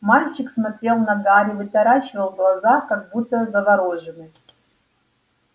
мальчик смотрел на гарри вытаращивал глаза как будто заворожённый